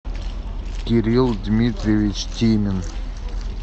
кирилл дмитриевич темин